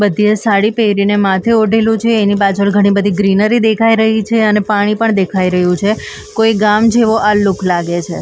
બધીએ સાડી પહેરીને માથે ઓઢેલું છે એની પાછળ ઘણી બધી ગ્રીનરી દેખાઈ રહી છે અને પાણી પણ દેખાઈ રહ્યું છે કોઈ ગામ જેવો આ લુક લાગે છે.